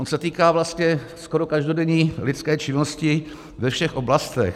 On se týká vlastně skoro každodenní lidské činnosti ve všech oblastech.